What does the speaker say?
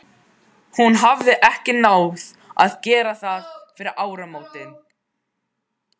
Hún hafði ekki náð að gera það fyrir áramótin.